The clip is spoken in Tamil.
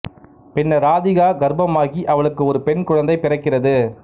பின்னர் ராதிகா கர்ப்பமாகி அவளுக்கு ஒரு பெண் குழந்தை பிறக்கிறது